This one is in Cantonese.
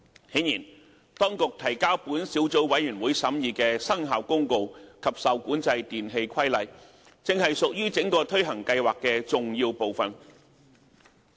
顯然，當局提交小組委員會審議的《生效公告》及《受管制電器規例》正是屬於整個推行計劃的重要部分。